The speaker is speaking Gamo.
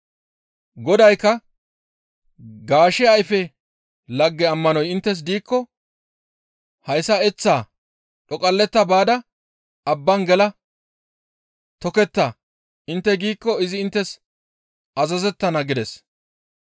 Godaykka, «Gaashe ayfe lagge ammanoy inttes diikko hayssa, ‹Eththaa dhoqalletta baada abban gela toketta› intte giikko izi inttes azazettana» gides.